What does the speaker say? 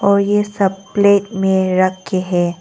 और ये सब प्लेट में रखे है।